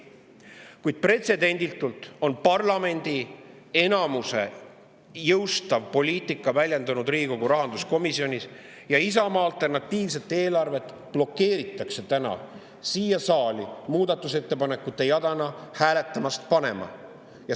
Kuid pretsedenditult on parlamendi enamuse jõustav poliitika väljendunud Riigikogu rahanduskomisjonis: Isamaa alternatiivset eelarvet blokeeritakse täna siin saalis ja meie muudatusettepanekuid hääletusele ei panda.